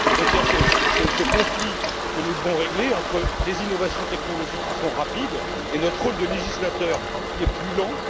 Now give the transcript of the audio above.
Il y a ce conflit que nous devons régler entre des innovations technologiques qui sont rapides et notre rôle de législateur qui est plus lent.